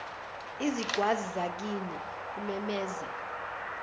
izingwazi zakini kumemeza